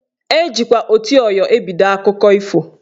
Ejikwa "oti ọyọ " ebido akụkọ ifo